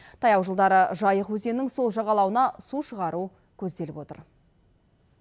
таяу жылдары жайық өзенінің сол жағалауына су шығару көзделіп отыр